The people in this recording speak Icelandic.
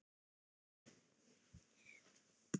Elsku Breki minn.